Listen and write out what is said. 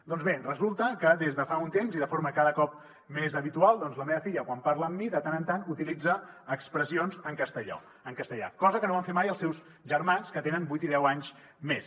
doncs bé resulta que des de fa un temps i de forma cada cop més habitual la meva filla quan parla amb mi de tant en tant utilitza expressions en castellà cosa que no van fer mai els seus germans que tenen vuit i deu anys més